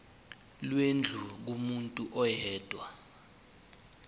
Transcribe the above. lwendlu kumuntu oyedwa